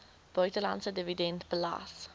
buitelandse dividend belas